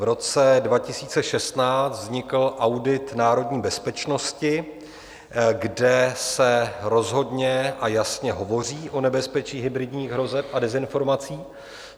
V roce 2016 vznikl Audit národní bezpečnosti, kde se rozhodně a jasně hovoří o nebezpečí hybridních hrozeb a dezinformací.